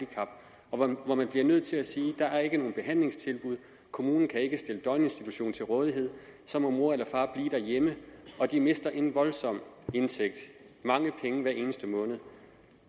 man og hvor man bliver nødt til at sige at der ikke er nogen behandlingstilbud kommunen kan ikke stille døgninstitution til rådighed så må mor eller far blive derhjemme og de mister en indtægt voldsomt mange penge hver eneste måned